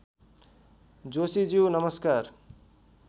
जोशीज्यू नमस्कार